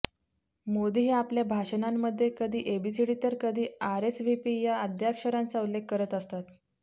मोदी हे आपल्या भाषणांमध्ये कधी एबीसीडी तर कधी आरएसव्हीपी या अद्याक्षरांचा उल्लेख करत असतात